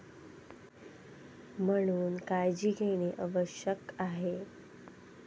म्हणून काळजी घेणे आवश्यक आहे.